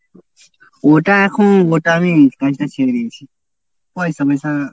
ওটা এখন ওটা আমি কাজটা ছেড়ে দিয়েছি। পয়সা ময়সা